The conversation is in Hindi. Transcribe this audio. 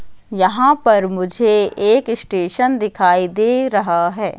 यहां पर मुझे एक स्टेशन दिखाई दे रहा है।